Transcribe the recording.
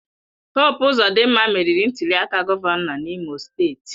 Hope Ozodinma meriri ntuliaka gọvanọ n'Imo steeti.